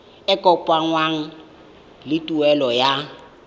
e kopanngwang le tuelo ya